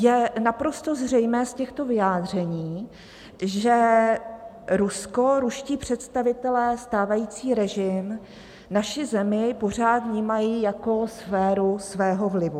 Je naprosto zřejmé z těchto vyjádření, že Rusko, ruští představitelé, stávající režim, naši zemi pořád vnímají jako sféru svého vlivu.